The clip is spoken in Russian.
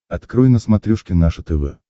открой на смотрешке наше тв